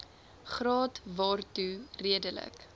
graad waartoe redelike